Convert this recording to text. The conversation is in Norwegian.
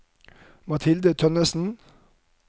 Mathilde Tønnesen